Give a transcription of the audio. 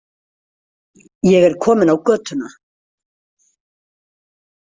Ég er komin á götuna.